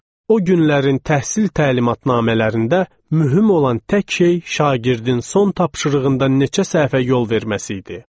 O günlərin təhsil təlimatnamələrində mühüm olan tək şey şagirdin son tapşırığında neçə səhvə yol verməsi idi.